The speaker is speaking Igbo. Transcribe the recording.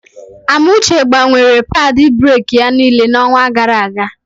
Amuche gbanwere padị breki ya niile n'onwa gara aga.